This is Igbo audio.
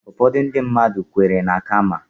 Ụfọdụ ndị mmadụ kweere na Kaama